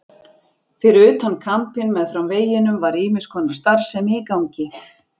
Fyrir utan kampinn meðfram veginum var ýmiss konar starfsemi í gangi.